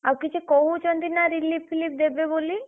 ଆଉ କିଛି କହୁଛନ୍ତି ନା relief ଫିଲିପ୍‌ ଦେବେ ବୋଲି।